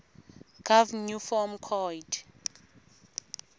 gov new form coid